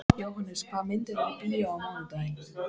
Jóhannes, hvaða myndir eru í bíó á mánudaginn?